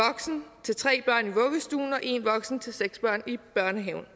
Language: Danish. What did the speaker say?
til tre og en voksen til seks børn i børnehaven